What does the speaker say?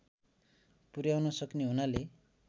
पुर्‍याउन सक्ने हुनाले